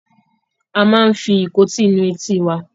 A máa ń fi ìkótí nu etí wa.